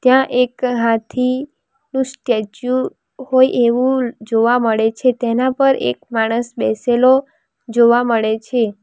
ત્યાં એક હાથી નું સ્ટેચ્યુ હોય એવું જોવા મળે છે તેના પર એક માણસ બેસેલો જોવા મળે છે.